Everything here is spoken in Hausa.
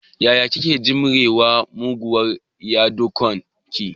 Ya kike jimrewa da muguwar yadikon ki?